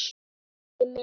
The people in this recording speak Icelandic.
Elsku pabbi minn.